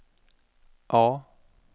A